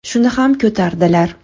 Shuni ham ko‘tardilar.